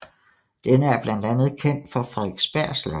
Denne er blandt andet kendt for Frederiksberg Slot